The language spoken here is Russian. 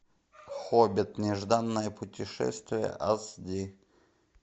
хоббит нежданное путешествие ас ди